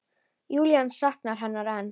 Júlía saknar hennar enn.